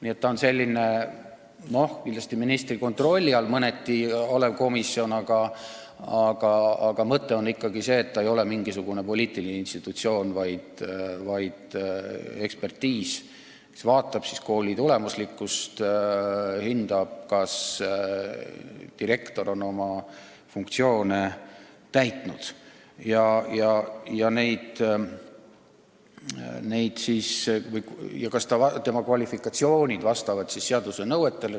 See oleks selline kindlasti mõneti ministri kontrolli all olev komisjon, aga mõte on ikkagi see, et see ei ole mingisugune poliitiline institutsioon, vaid ekspertiisigrupp, kes analüüsib kooli tulemuslikkust, hindab, kas direktor on oma funktsioone täitnud ja kas tema kvalifikatsioon vastab seaduse nõuetele.